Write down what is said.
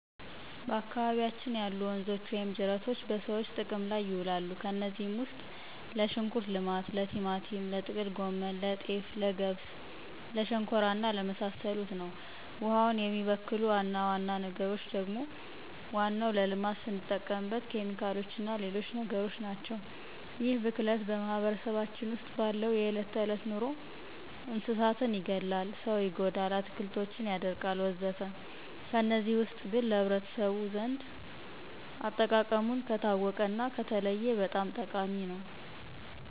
በአካባቢያችን ያሉ ወንዞች ወይም ጅረቶች በሰዎች ጥቅም ላይ ይውላሉ። ከነዚህም ውስጥ ለሽንኩርት ልማት፣ ለቲማቲም፣ ለጥቅል ጎመን፣ ለጤፍ፣ ለገብስ ለሸንኮራ እና ለመሳሰሉት ነው። ውሃውን የሚበክሉ ዋና ዋና ነገሮች ደግሞ ዋናው ለልማት ስንጠቀምበት ኬሚካሎችና ሌሎች ነገሮችናቸው። ይህ ብክለት በማህበረሰባችን ውስጥ ባለው የዕለት ተዕለት ኑሮ እንስሳትን ይገላል፣ ሰው ይጎዳል፣ አትክልቶችን ያደርቃልወዘተ ከነዚህ ውስጥ ግን ለህብረተሰቡ ዘንድ አጠቃቀሙን ከታወቀና ከተለየ በጣም ጠቃሚ ነው።